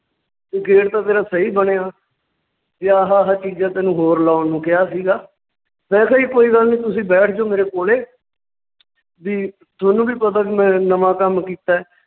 gate ਤਾਂ ਤੇਰਾ ਸਹੀ ਬਣਿਆ, ਵੀ ਆਹਾ ਆਹਾ ਚੀਜ਼ਾਂ ਤੈਨੂੰ ਹੋਰ ਲਾਉਣ ਨੂੰ ਕਿਹਾ ਸੀਗਾ, ਮੈਂ ਕਿਹਾ ਜੀ ਕੋਈ ਗੱਲ ਨੀ ਤੁਸੀਂ ਬੈਠ ਜਾਓ ਮੇਰੇ ਕੋਲੇ ਵੀ ਤੁਹਾਨੂੰ ਵੀ ਪਤਾ ਵੀ ਮੈਂ ਨਵਾਂ ਕੰਮ ਕੀਤਾ ਹੈ